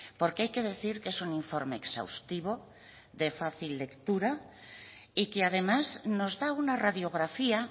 porque hay que decir que es un informe exhaustivo de fácil lectura y que además nos da una radiografía